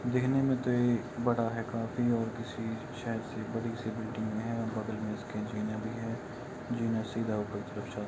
देखने में तो ये बड़ा काफी और किसी शायद से बड़ी सी बिल्डिंग में है बगल में इसके जीने भी है जो जीने ऊपर की तरफ जाता है।